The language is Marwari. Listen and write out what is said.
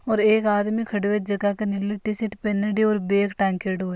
और एक आदमी खड़ो जके की नीली टीशर्ट पहनेडी और बैग टाँगेड़ो है।